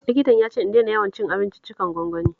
Likitan ya ce in daina yawan cin abinciccikan gwangwani